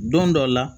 Don dɔ la